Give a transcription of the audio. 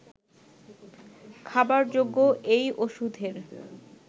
খাবারযোগ্য এই ওষুধের